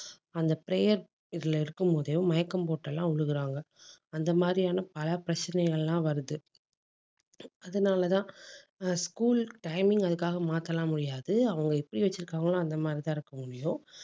அந்த prayer இதுல இருக்கும் போதே, மயக்கம் போட்டு எல்லாம் விழுகுறாங்க. அந்த மாதிரியான பல பிரச்சனைகள் எல்லாம் வருது. அதனாலதான் ஆஹ் school timing அதுக்காக மாத்த எல்லாம் முடியாது. அவங்க எப்படி வச்சிருக்காங்களோ அந்த மாதிரிதான் இருக்க முடியும்